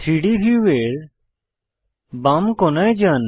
3ডি ভিউয়ের বাম কোণায় যান